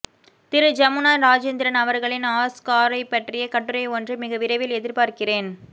திரு ஜமுனா ரஜேந்திரன் அவர்களின் ஆஸ்காரைப்பற்றிய கட்டுரை ஒன்றை மிக விரைவில் எதிர்பார்க்கிறேன்